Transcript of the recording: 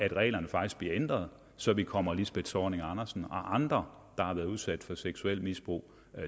at reglerne faktisk bliver ændret så vi kommer lisbeth zornig andersen og andre der har været udsat for seksuelt misbrug